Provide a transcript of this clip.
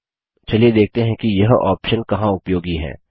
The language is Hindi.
चलिए देखते हैं कि यह ऑप्शन कहाँ उपयोगी है